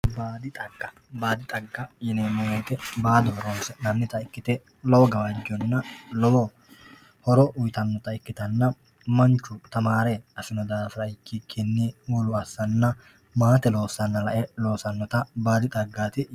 Baadi xagga baadi xagga yineemmo woyiite baado horonsi'nannita ikkite lowo gawajjonna lowo horo uyiitannota ikkite manchu tamaare afino daafira ikkitukkinni wolu assanna maate loossanna afe aannota baadi xaggaati